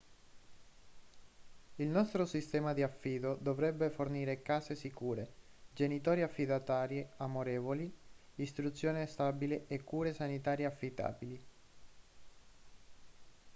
il nostro sistema di affido dovrebbe fornire case sicure genitori affidatari amorevoli istruzione stabile e cure sanitarie affidabili